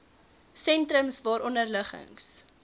sentrums waaronder liggings